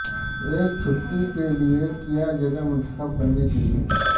ایک چھٹی کے لئے کیا جگہ منتخب کرنے کے لئے